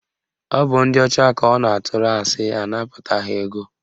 Ọ bụ ndị ọcha ka ọ na-atụrụ asị anapụta ha ego